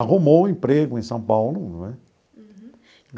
Arrumou um emprego em São Paulo, não é?